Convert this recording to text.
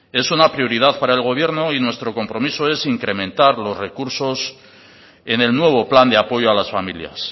es una prioridad para el gobierno y nuestro compromiso es incrementar los recursos en el nuevo plan de apoyo a las familias